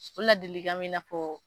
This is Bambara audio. O ladilikan b'i n'a fɔ